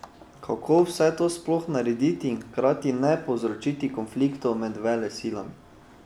Kako vse to sploh narediti in hkrati ne povzročiti konfliktov med velesilami?